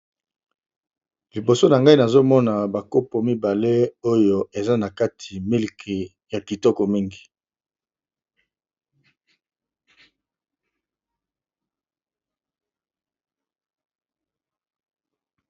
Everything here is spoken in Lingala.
Liboso na ngai nazo mona ba kopo mibale oyo eza na kati milke ya kitoko mingi.